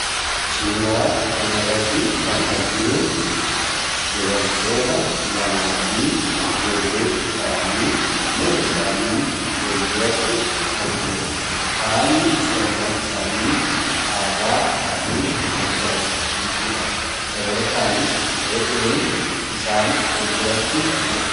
suuraa kanarratti kan arginu dubartoota lamaa fi ijoollee isaanii mana isaanii foolduratti argina haalli uffannaa isaanii aadaa isaanii kan calasiisuudha dabalataanis re'een isaan folduratti argau